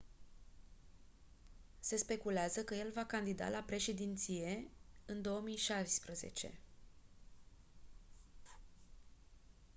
se speculează că el va candida la președinție în 2016